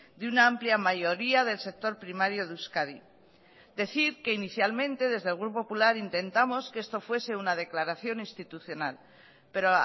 de una amplia mayoría del sector primario de euskadi decir que inicialmente desde el grupo popular intentamos que esto fuese una declaración institucional pero